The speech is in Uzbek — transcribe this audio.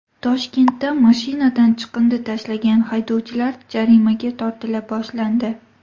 Toshkentda mashinadan chiqindi tashlagan haydovchilar jarimaga tortila boshlandi.